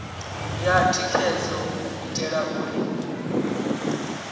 ya thikhedzo u itela uri